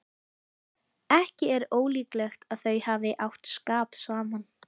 Ekki er ólíklegt að þau hafi átt skap saman.